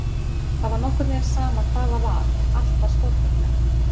Það var nokkurn veginn sama hvað það var, allt var stórfenglegt.